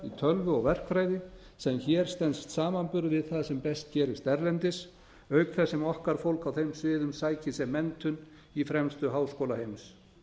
tölvu og verkfræði sem hér stenst samanburð við það sem best gerist erlendis auk þess sem okkar fólk á þeim sviðum sækir sér menntun í fremstu háskóla heims